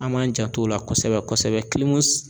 An m'an janto o la kɔsɛbɛ kɔsɛbɛ